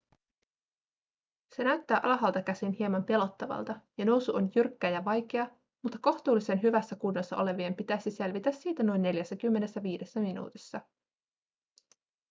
se näyttää alhaalta käsin hieman pelottavalta ja nousu on jyrkkä ja vaikea mutta kohtuullisen hyvässä kunnossa olevien pitäisi selvitä siitä noin 45 minuutissa